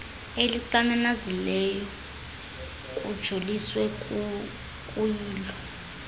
elixananazileyo kujoliswe kuyilo